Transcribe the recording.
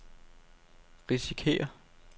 risikerer